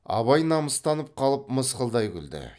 абай намыстанып қалып мысқылдай күлді